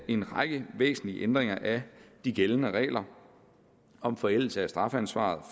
en række væsentlige ændringer af de gældende regler om forældelse af strafansvaret